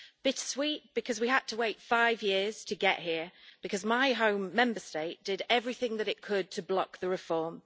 Bittersweet, because we had to wait five years to get here, because my home Member State did everything that it could to block the reform.